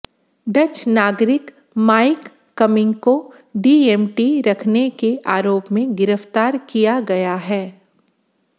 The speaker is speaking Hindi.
डच नागरिक माइक कम्मिंग को डीएमटी रखने के आरोप में गिरफ्तार किया गया है